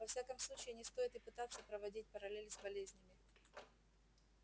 во всяком случае не стоит и пытаться проводить параллель с болезнями